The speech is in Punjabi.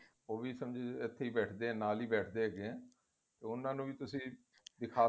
ਉਹ ਵੀ ਇਥੇ ਬੈਠ ਦੇ ਏ ਨਾਲ ਹੀ ਬੈਠ ਦੇ ਹੈਗੇ ਏ ਉਹਨਾ ਨੂੰ ਵੀ ਤੁਸੀਂ ਦਿੱਖਾਂ